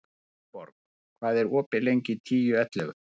Gunnborg, hvað er opið lengi í Tíu ellefu?